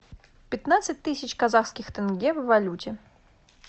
пятнадцать тысяч казахских тенге в валюте